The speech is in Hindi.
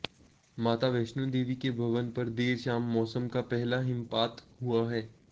माता वैष्णो देवी के भवन पर देर शाम मौसम का पहला हिमपात हुआ है